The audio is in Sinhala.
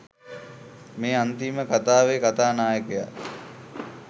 මේ අන්තිම කතාවේ කතා නායකයා